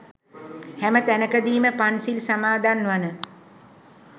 හැම තැනකදීම පන්සිල් සමාදන් වන